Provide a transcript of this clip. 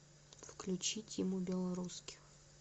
включи тиму белорусских